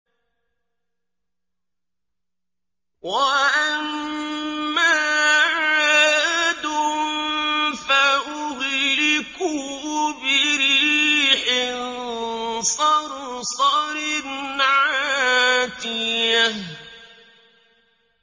وَأَمَّا عَادٌ فَأُهْلِكُوا بِرِيحٍ صَرْصَرٍ عَاتِيَةٍ